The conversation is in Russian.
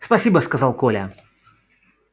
спасибо сказал коля